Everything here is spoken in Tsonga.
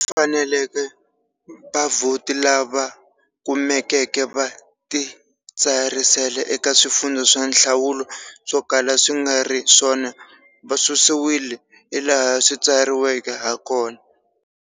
Laha swi faneleke, vavhoti lava kumekeke va titsarisele eka swifundza swa nhlawulo swo kala swi nga ri swona va susiwile, hilaha swi tsariweke hakona.